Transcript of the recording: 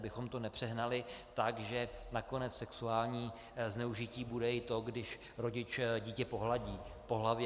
Abychom to nepřehnali tak, že nakonec sexuální zneužití bude i to, když rodič dítě pohladí po hlavě.